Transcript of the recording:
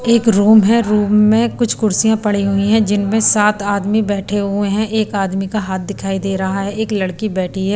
एक रूम है रूम में कुछ कुर्सियां पड़ी हुई हैं जिनमें सात आदमी बैठे हुए हैं एक आदमी का हाथ दिखाई दे रहा है एक लड़की बैठी है।